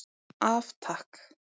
Af Takk.